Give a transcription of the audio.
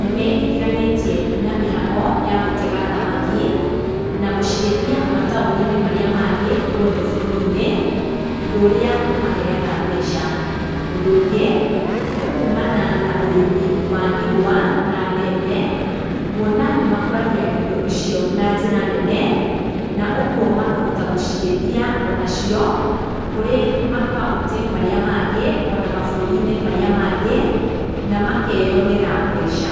nĩmeingiranĩtie na mĩhango ya gũtega thamaki na gũciendia mataũninĩ marĩa mangĩ gwothe bũrũrinĩ ũndũ ũria ũmaheaga mbeca, ũndũ ũngĩ nĩ kumana na ũrĩmi wa igwa na mbembe kũona nĩmakũragĩa indo icio na njĩra nene na ũguo makahota gũciendia onacio kũrĩ makaũntĩ marĩa mangĩ ona mabũrũrinĩ marĩa mangĩ na makeonera mbeca.